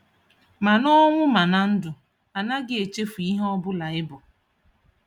Mana ọnwụ mana ndụ, anaghị echefu ihe Obụla I bu.